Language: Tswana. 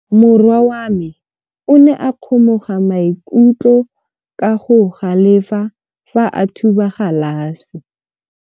Morwa wa me o ne a kgomoga maikutlo ka go galefa fa a thuba galase.